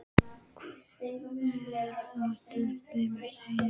Hve oft tókst þeim að sigra?